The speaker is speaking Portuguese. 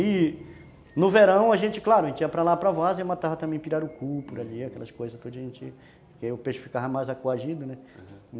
E no verão a gente, claro, a gente ia para lá para várzea e matava também pirarucu, por ali, aquelas coisas que o peixe ficava mais coagido, né, aham.